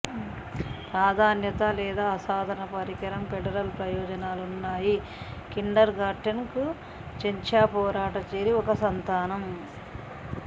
ప్రాధాన్యత లేదా అసాధారణ పరికరం ఫెడరల్ ప్రయోజనాలు ఉన్నాయి కిండర్ గార్టెన్ కు చెచ్న్యా పోరాట చేరి ఒక సంతానం